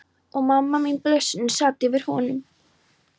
Og amma mín, blessunin, sat yfir honum.